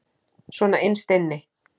Svona innst inni.